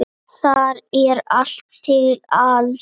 Þar er allt til alls.